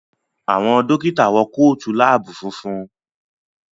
Àwọn Dókítà wọ Kóòtù lab funfun